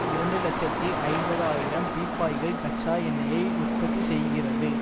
இரண்டு இலட்சத்தி ஐம்பது ஆயிரம் பீப்பாய்கள் கச்சா எண்ணெய்யை உற்பத்தி செய்கிறது